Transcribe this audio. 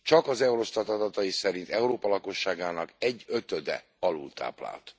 Csak az Eurostat adatai szerint Európa lakosságának egyötöde alultáplált.